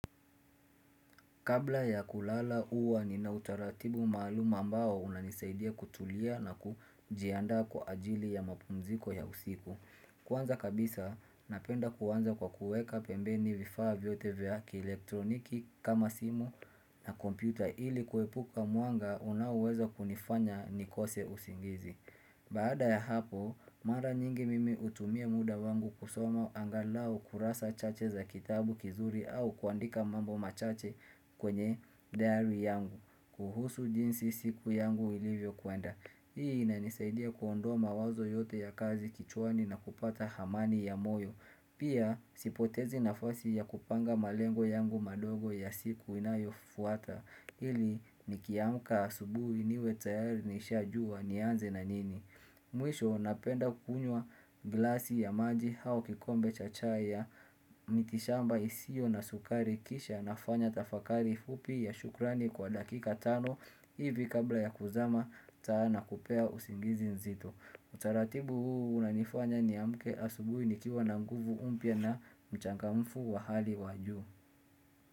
Kabla ya kulala uwa ninautaratibu maalum ambao unanisaidia kutulia na kujiandaa kwa ajili ya mapumziko ya usiku. Kuwanza kabisa, napenda kuwanza kwa kuweka pembeni vifaa vyote vya ki elektroniki kama simu na kompyuta ili kuepuka muanga unauweza kunifanya nikose usingizi. Baada ya hapo, mara nyingi mimi utumia muda wangu kusoma angalao kurasa chache za kitabu kizuri au kuandika mambo machache kwenye diary yangu, kuhusu jinsi siku yangu ilivyo kuenda. Hii ina nisaidia kuondoa mawazo yote ya kazi kichwani na kupata hamani ya moyo Pia sipotezi nafasi ya kupanga malengo yangu madogo ya siku inayo fuata Hili nikiamka asubui niwe tayari nisha juwa nianze na nini Mwisho napenda kukunywa glasi ya maji hao kikombe chachaya Mitishamba isio na sukari kisha nafanya tafakari fupi ya shukrani kwa dakika tano hivi kabla ya kuzama sana kupea usingizi nzito Utaratibu huu unanifanya ni amke asubui nikiwa na nguvu mpya na mchangamfu wa hali waju.